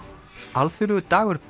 alþjóðlegur dagur